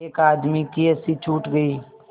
एक आदमी की हँसी छूट गई